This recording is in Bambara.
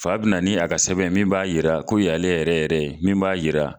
Fa bɛ na ni a ka sɛbɛn ye min b'a jira ko nin ye ale yɛrɛ yɛrɛ min b'a jira